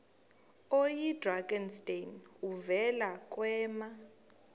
oyidrakenstein uvele kwema